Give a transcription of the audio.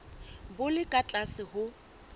bo le ka tlase ho